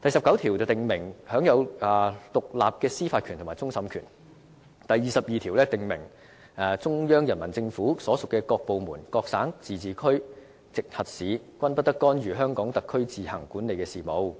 第十九條訂明香港特區享有獨立的司法權和終審權；第二十二條訂明中央人民政府所屬各部門、各省、自治區、直轄市均不得干預香港特區自行管理的事務。